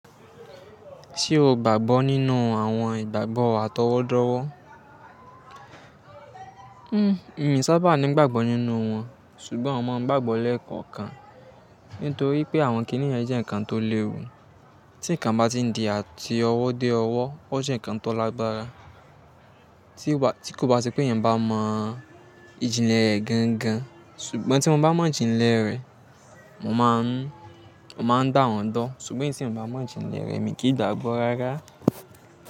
Ṣé o gbàgbọ́ nínú àwọn ìgbàgbọ́ àtọwọ́dọ́wọ́? Hmm, mi sábà ńi gbàgbọ́ nínú wọn, ṣùgbọ́n mo máa ń gbàgbọ́ lẹ́ẹ̀kọ̀kan. Nítorí pé àwọn kìíní yẹ̀n jẹ́ nǹkan tó léwu, tí nǹkan bá ti di àti ọwọ́ dé ọwọ́, ó jẹ́ nǹkan tó lágbára, ti Tí kò bá sí pé ènìyàn bá mọ ìjìnlẹ̀ rẹ̀ gangan, ṣùgbọ́n tí mo bá mọ ìjìnlẹ̀ rẹ̀, mo máa ń gbá wọn gbo. Ṣùgbọ́n eyi tí èyàn bá mọ ìjìnlẹ̀ rẹ̀, mi kì í gbàgbọ́ rárá.